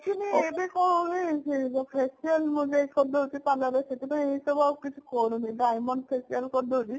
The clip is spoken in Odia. actually ଏବେ କଣ ହୁଏ ସେ facial ମେସିଆଲ କରି ଦେଉଛେ parlor ରେ ସେଥିପାଇଁ ଏସବୁ ଆଉ କିଛି କରୁନି Dimond facial କରିଦଉଛି